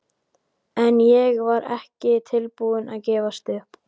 En ég var ekki tilbúin að gefast upp.